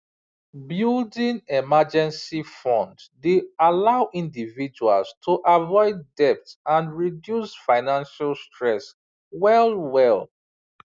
building emergency fund dey allow individuals to avoid debt and reduce financial stress well well